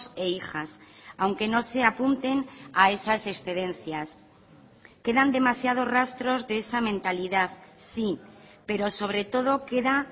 e hijas aunque no se apunten a esas excedencias quedan demasiados rastros de esa mentalidad sí pero sobre todo queda